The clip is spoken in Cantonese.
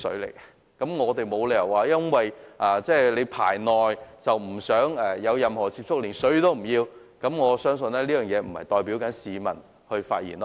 所以，我們沒有理由說由於"排內"，不想與內地有接觸，便連食水也不要，我相信這並非市民的意見。